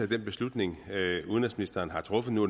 den beslutning udenrigsministeren har truffet nu